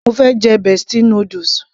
mo fẹ́ jẹ bestie noodles